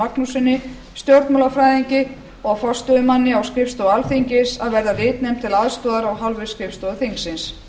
magnússyni stjórnmálafræðingi og forstöðumanni á skrifstofu alþingis a verða ritnefnd til aðstoðar af hálfu skrifstofu þingsins